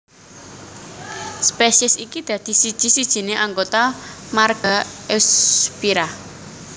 Spesies iki dadi siji sijine anggota marga Eusphyra